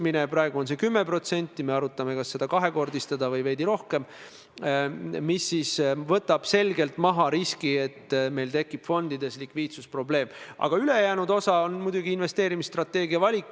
Ma olen väga tänulik, et see arutelu seal niimoodi kulges ja et jõuti ka kokkuleppele, mille kohaselt Majandus- ja Kommunikatsiooniministeeriumile, kelle esindajana ma sellel koosolekul viibisin, jäi tõepoolest teatud ülesanne.